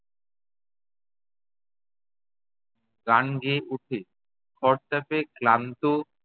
গান গেয়ে ওঠে, খরতাপে ক্লান্ত